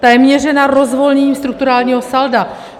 Ta je měřena rozvolněním strukturálního salda.